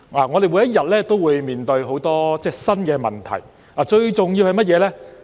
我們每天都會面對很多新的問題，最重要的是甚麼呢？